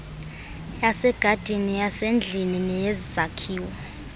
yasegadini yasendlini neyezakhiwo